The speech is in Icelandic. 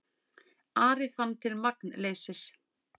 Ari fann til magnleysis.